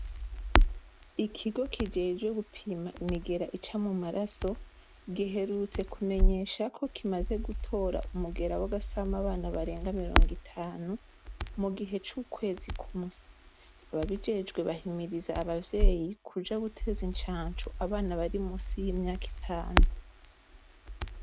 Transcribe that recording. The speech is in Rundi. Ikigo kijejwe gupima imigera ica mu maraso, giherutse kumenyesha ko kimaze gutora umugera w'abasama abana barenga mirongo itanu mu gihe c'ukwezi kumwe. Ababijejwe bahimiriza abavyeyi kuja guteza incanco abana bari musi y'imyaka itanu.